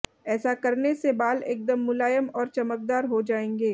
ऐसा करने से बाल एकदम मुलायम और चमकदार हो जायेंगे